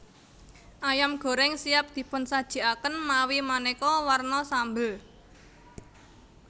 Ayam goreng siap dipunsajikaken mawi maneka warna sambel